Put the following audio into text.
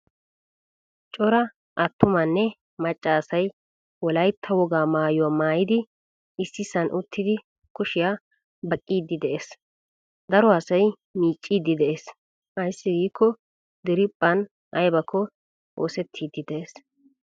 Cora attumanne macca asay wolaytta wogaa maayuwaa maayidi issisan uttidi kushiya baqqidi de'ees. Daro asay miccidi de'ees. Aysi giko diriphphan aybakko oosettidi de'ees.